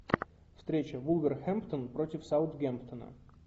встреча вулверхэмптон против саутгемптона